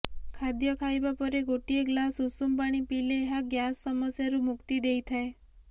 ଖାଦ୍ୟ ଖାଇବା ପରେ ଗୋଟିଏ ଗ୍ଲାସ ଉଷୁମ ପାଣି ପିଇଲେ ଏହା ଗ୍ୟାସ ସମସ୍ୟାରୁ ମୁକ୍ତି ଦେଇଥାଏ